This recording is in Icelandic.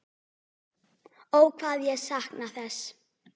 Ó hvað ég sakna þess.